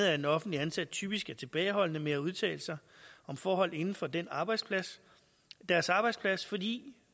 at offentligt ansatte typisk er tilbageholdende med at udtale sig om forhold inden for deres arbejdsplads deres arbejdsplads fordi